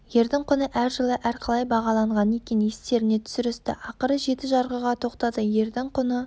ердің құны әр жылы әр қалай бағаланған екен естеріне түсірісті ақыры жеті жарғыға тоқтады ердің құны